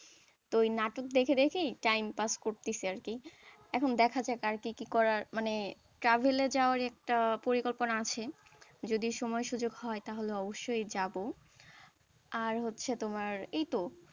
তো ওই নাটক দেখে দেখেই time pass করতেছে আর কি এখন দেখা যাক আর কি কি করার মানে travel এ যাওয়ার একটা পরিকল্পনা আছে যদি সময় সুযোগ হয় তাহলে অবশ্যই যাব, আর হচ্ছে তোমার এইতো,